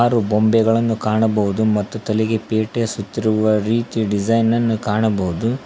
ಆರು ಗೊಂಬೆಗಳನ್ನು ಕಾಣಬಹುದು ಮತ್ತು ತಲೆಗೆ ಪೇಟೆಸುತ್ತಿರುವ ರೀತಿ ಡಿಸೈನ್ ನನ್ನು ಕಾಣಬಹುದು.